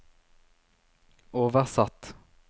oversatt